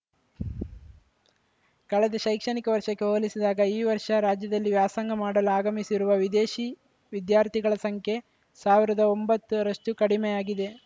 ಕಳೆದ ಶೈಕ್ಷಣಿಕ ವರ್ಷಕ್ಕೆ ಹೋಲಿಸಿದಾಗ ಈ ವರ್ಷ ರಾಜ್ಯದಲ್ಲಿ ವ್ಯಾಸಂಗ ಮಾಡಲು ಆಗಮಿಸಿರುವ ವಿದೇಶಿ ವಿದ್ಯಾರ್ಥಿಗಳ ಸಂಖ್ಯೆ ಸಾವಿರದ ಒಂಬತ್ತರಷ್ಟುಕಡಿಮೆಯಾಗಿದೆ